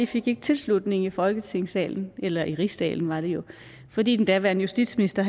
fik ikke tilslutning i folketingssalen eller i rigsdagen var det jo fordi den daværende justitsminister